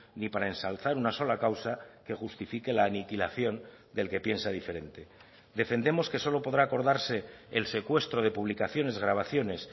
ni para ensalzar una sola causa que justifique la aniquilación del que piensa diferente defendemos que solo podrá acordarse el secuestro de publicaciones grabaciones